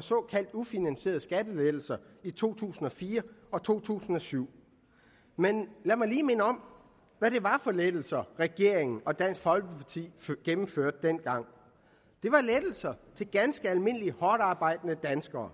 såkaldte ufinansierede skattelettelser i to tusind og fire og to tusind og syv men lad mig lige minde om hvad det var for lettelser regeringen og dansk folkeparti gennemførte dengang det var lettelser til ganske almindelige hårdtarbejdende danskere